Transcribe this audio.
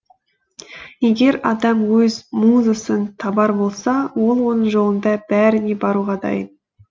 егер адам өз музасын табар болса ол оның жолында бәріне баруға дайын